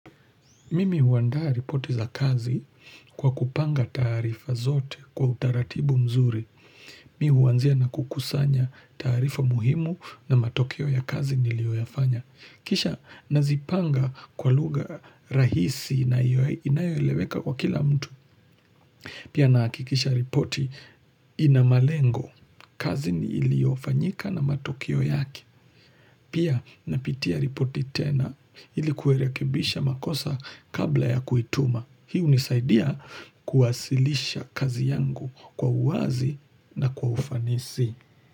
Mimi huandaa ripoti za kazi kwa kupanga taarifa zote kwa utaratibu mzuri. Mi huanzia na kukusanya taarifa muhimu na matokeo ya kazi nilioyafanya. Kisha nazipanga kwa lugha rahisi na inayoeleweka kwa kila mtu. Pia nahakikisha ripoti ina malengo. Kazi iliofanyika na matokeo yake. Pia napitia ripoti tena ilikuerekebisha makosa kabla ya kuituma. Hi hunisaidia kuwasilisha kazi yangu kwa uwazi na kwa ufanisi.